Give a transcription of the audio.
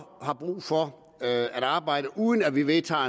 har brug for at arbejde uden at vi vedtager